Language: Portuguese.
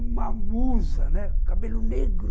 Uma musa, né, cabelo negro.